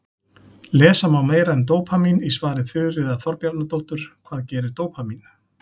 Lesa má meira um dópamín í svari Þuríðar Þorbjarnardóttur, Hvað gerir dópamín?